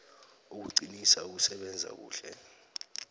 ukuqinisa ukusebenza kuhle